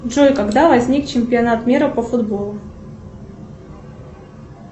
джой когда возник чемпионат мира по футболу